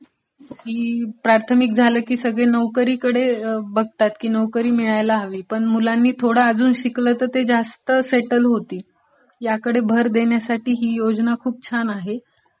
की प्राथमिक झालं की सगळे नोकरीकडे बघतात, की नोकरी मिळायला हवी, पण मुलांनी जरा अजून शिकलं तर अजून जास्त सेटलडं होतील, याकडे भर देण्यासाठी ही योजना खूप छान आहें